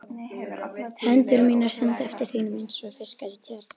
Hendur mínar synda eftir þínum einsog fiskar í tjörn.